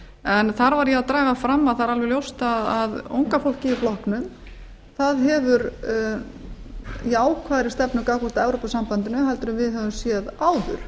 en þar var ég að draga fram að það er alveg ljóst að unga fólkið í flokknum hefur jákvæðari stefnu gagnvart evrópusambandinu en við höfum séð áður